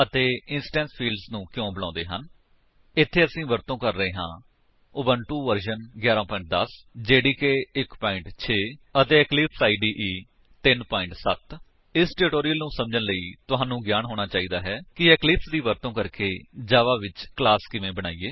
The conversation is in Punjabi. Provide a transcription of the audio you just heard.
ਅਤੇ ਇੰਸਟੈਂਸ ਫੀਲਡਜ਼ ਨੂੰ ਕਿਉਂ ਬੁਲਾਉਂਦੇ ਹਨ160 ਇੱਥੇ ਅਸੀ ਵਰਤੋ ਕਰ ਰਹੇ ਹਾਂ ਉਬੰਟੁ ਵਰਜਨ 11 10 ਜੇਡੀਕੇ 1 6 ਅਤੇ ਇਕਲਿਪਸ ਇਦੇ 3 7 0 ਇਸ ਟਿਊਟੋਰਿਅਲ ਨੂੰ ਸਮਝਨ ਲਈ ਤੁਹਾਨੂੰ ਗਿਆਨ ਹੋਣਾ ਚਾਹੀਦਾ ਹੈ ਕਿ ਇਕਲਿਪਸ ਦੀ ਵਰਤੋ ਕਰਕੇ ਜਾਵਾ ਵਿੱਚ ਕਲਾਸ ਕਿਵੇਂ ਬਣਾਇਏ